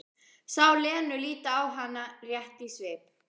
Sá Lenu líta á hana rétt í svip.